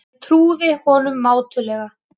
Ég trúði honum mátulega.